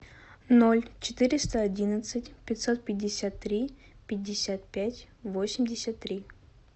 ноль четыреста одиннадцать пятьсот пятьдесят три пятьдесят пять восемьдесят три